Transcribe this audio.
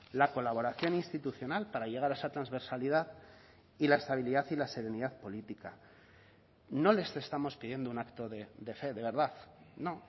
la colaboración institucional para llegar a esa transversalidad y la estabilidad y la serenidad política no les estamos pidiendo un acto de fe de verdad no